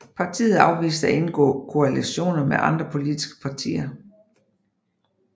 Partiet afviste at indgå koalitioner med andre politiske partier